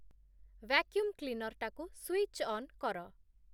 vacuum କ୍ଲିନର୍‌ଟାକୁ switch on କର